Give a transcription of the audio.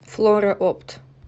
флора опт